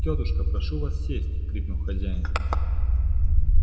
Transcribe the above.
тётушка прошу вас сесть крикнул хозяин